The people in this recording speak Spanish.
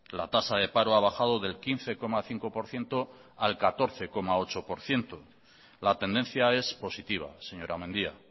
la tasa de paro ha bajado del quince coma cinco por ciento al catorce coma ocho por ciento la tendencia es positiva señora mendia